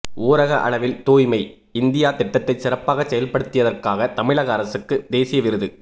ஊரக அளவில் தூய்மை இந்தியா திட்டத்தை சிறப்பாக செயல்படுத்தியதற்காக தமிழக அரசுக்கு தேசிய விருது